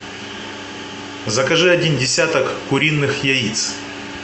закажи один десяток куриных яиц